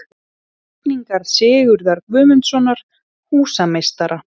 Teikningar Sigurðar Guðmundssonar, húsameistara.